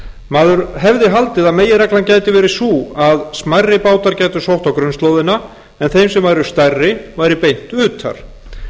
maður hefði haldið að meginreglan gæti verið sú að smærri bátar gætu sótt á grunnslóðin en þeir sem væru stærri væri beitt utar